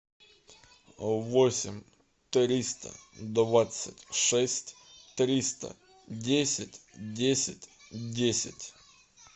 восемь триста двадцать шесть триста десять десять десять